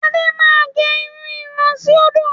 Adé máa gẹ irú irun síòdò.